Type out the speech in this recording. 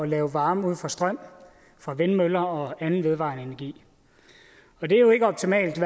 lave varme ud fra strøm fra vindmøller og anden vedvarende energi og det er jo ikke optimalt